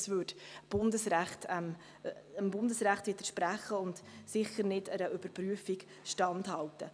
Das widerspräche dem Bundesrecht und hielte einer Überprüfung sicher nicht Stand.